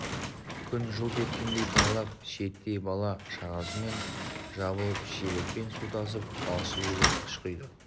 күн жылт еткеннен тайлақ шиеттей бала-шағасымен жабылып шелекпен су тасып балшық илеп қыш құйды